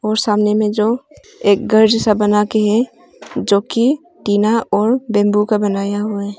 और सामने में जो एक घर जैसा बनाके है जोकि टीना और बैंबू का बनाया हुआ है।